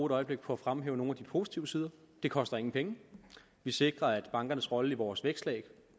et øjeblik på fremhæve nogle af de positive sider det koster ingen penge vi sikrer at bankernes rolle i vores vækstlag